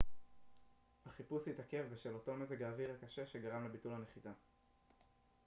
החיפוש התעכב בשל אותו מזג האוויר קשה שגרם לביטול הנחיתה